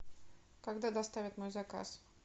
когда доставят мой заказ